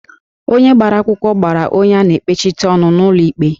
Onye gbara akwụkwọ gbara onye a na-ekpechite ọnụ n'ụlọ ikpe